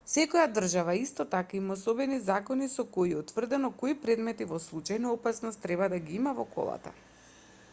секоја држава исто така има особени закони со кои е утврдено кои предмети во случај на опасност треба да ги има во колата